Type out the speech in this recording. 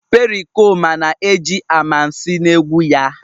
Pericoma na-eji amansi na egwu ya..